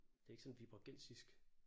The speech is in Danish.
Det ikke sådan viborgensisk